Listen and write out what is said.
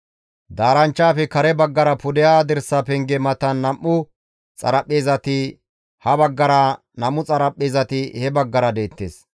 Daaranchchaafe kare baggara pudeha dirsa penge matan nam7u xaraphpheezati ha baggara, nam7u xaraphpheezati he baggara deettes.